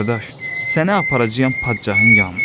Qardaş, səni aparacağam padşahın yanına.